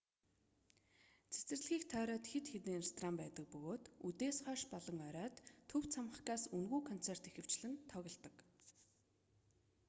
цэцэрлэгийг тойроод хэд хэдэн ресторан байдаг бөгөөд үдээс хойш болон оройд төв цамхгаас үнэгүй концерт ихэвчлэн тоглодог